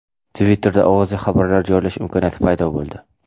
Twitter’da ovozli xabarlar joylash imkoniyati paydo bo‘ldi.